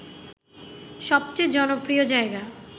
সবচেয়ে জনপ্রিয় জায়গা